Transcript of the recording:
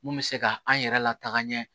Mun bɛ se ka an yɛrɛ lataa ɲɛ